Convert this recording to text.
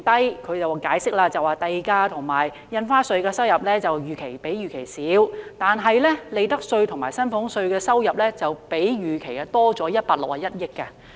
根據政府的解釋，是因為地價和印花稅收入較預期少，但利得稅及薪俸稅的收入則較預期多出161億元。